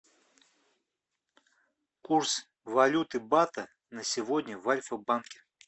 курс валюты бата на сегодня в альфа банке